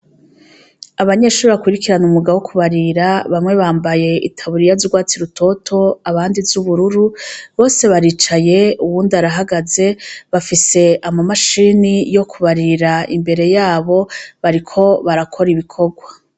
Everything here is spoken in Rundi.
Abanyeshuri bakurikirana umwuga wo kubarira, bamwe bambaye itaburiya z'urwatsi rutoto, abandi z'ubururu, bose baricaye uwundi arahagaze, bafise ama mashini yo kubarira imbere yabo bariko barakora ibikorwa.